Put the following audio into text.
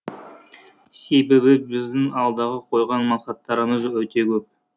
себебі біздің алдағы қойған мақсаттарымыз өте көп